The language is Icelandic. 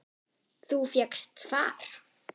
Þú fékkst far?